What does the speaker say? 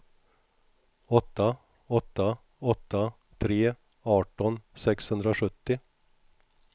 åtta åtta åtta tre arton sexhundrasjuttio